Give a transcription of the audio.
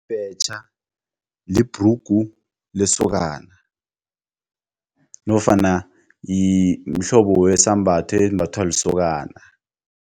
Ibhetjha libhrugu lesokana nofana mhlobo wesambatho esimbathwa lisokana.